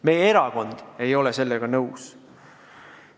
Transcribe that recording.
Meie erakond ei ole sellega nõus.